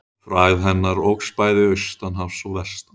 Frægð hennar óx bæði austan hafs og vestan.